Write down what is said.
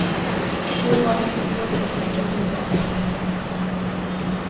Urvalet är stort och smycken finns i alla prisklasser.